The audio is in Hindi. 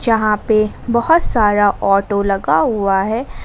यहां पे बहोत सारा ऑटो लगा हुआ है।